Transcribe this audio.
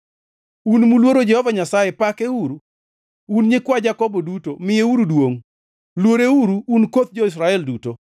Un muluoro Jehova Nyasaye, pakeuru! Un nyikwa Jakobo duto, miyeuru duongʼ. Luoreuru, un koth jo-Israel duto!